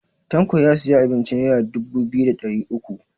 Tanko ya siya abincin nera dubu biyu da ɗari uku